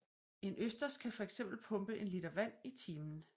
En østers kan fx pumpe en liter vand i timen